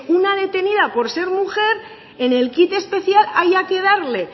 una detenida por ser mujer en el kit especial haya que darle